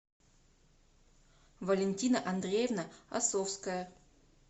валентина андреевна осовская